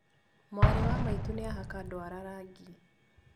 Mwarĩ wa maitũ nĩahaka ndwara rangi